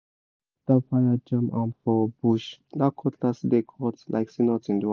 even after fire jam am for bush that cutlass still dey cut like say nothing do am